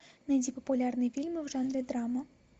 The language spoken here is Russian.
найди популярные фильмы в жанре драма